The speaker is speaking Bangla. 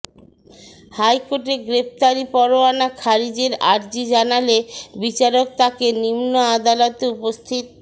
হাইকোর্টে গ্রেফতারি পরোয়ানা খারিজের আর্জি জানালে বিচারক তাঁকে নিম্ন আদালতে উপস্থিত